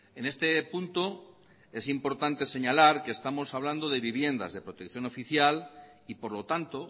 en este punto es importante señalar que estamos hablando de viviendas de protección oficial y por lo tanto